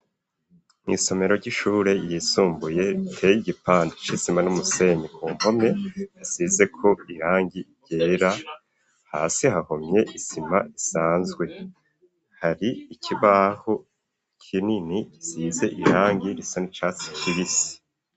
Mu isomero ry'ishure yisumbuye iteye gipande c'isima n'umusenyi ku mpome hasizeko irangi ryera hasi hahomye isima isanzwe hari ikibaho kinini gisize irangi risa n'icatsi kibisi.